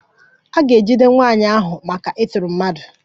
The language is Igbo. A ga-ejide nwaanyị ahụ maka ịtọrọ mmadụ